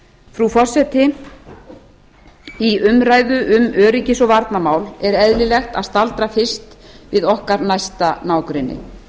frú forseti í umræðu um öryggis og varnarmál er eðlilegt að staldra fyrst við okkar næsta nágrenni